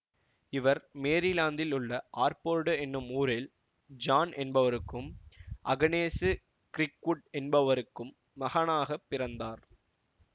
இவர் மேரிலாந்தில் உள்ள ஆர்போர்டு எனும் ஊரில் ஜான் என்பவருக்கும் அகனேசு கிர்க்வுட் என்பவருக்கும் மகனாக பிறந்தார்